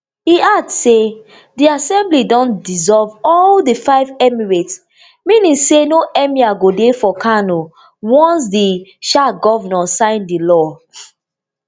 e add say di assembly don dissolve all di five emirates meaning say no emir go dey for kano once di um govnor sign di law